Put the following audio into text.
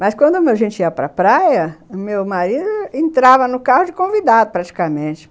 Mas quando a gente ia para praia, meu marido entrava no carro de convidado, praticamente.